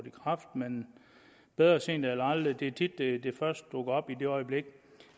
i kraft men bedre sent end aldrig det er tit det først dukker op i det øjeblik